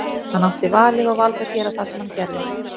Hann átti valið og valdi að gera það sem hann gerði.